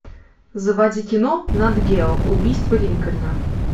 заводи кино нат гео убийство линкольна